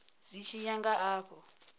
zwi tshi ya nga afho